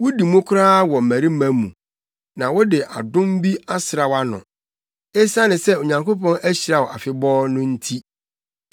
Wudi mu koraa wɔ mmarima mu na wɔde adom bi asra wʼano, esiane sɛ Onyankopɔn ahyira wo afebɔɔ no nti.